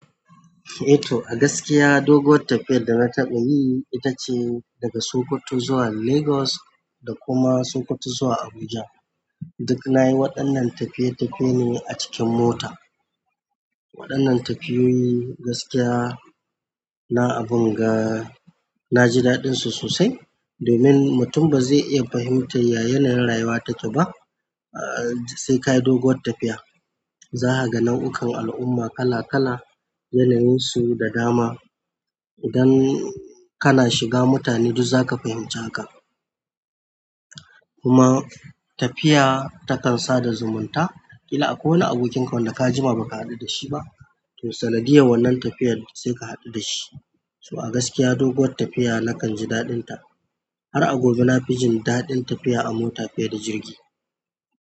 Eh to, a gaskiya doguwar tafiyar da na taɓa yi ita ce daga Sokoto zuwa Lagos da kuma Sokoto zuwa Abuja. Duk na yi waɗannan tafiye-tafiye ne a cikin mota. Waɗannan tafiyoyi gaskiya na abun ga. Na ji daɗinsu sosai. Domin mutum ba zai iya fahimtar ya yanayin rayuwa take ba, ahhh sai ka yi doguwar tafiya. Za kaga nau'ukan al'umma kala-kala, yanayinsu da dama. Idan kana shiga, mutane duk zaka fahimci haka. Kuma tafiya takan sada zumunta. Kila akwai wani abokinka wanda ka jima ba ka haɗu da shi ba, to sanadiyar wannan tafiyar sai ka haɗu da shi. To a gaskiya doguwar tafiya na kanji daɗinta. Har a gobe na fi jin daɗin tafiya a mota fiye da jirgi.